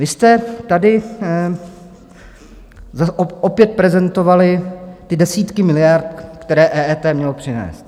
Vy jste tady opět prezentovali ty desítky miliard, které EET mělo přinést.